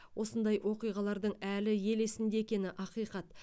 осындай оқиғалардың әлі ел есінде екені ақиқат